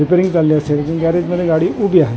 Repairing चालली असेल पण गॅरेजमध्ये गाडी उभी आहे.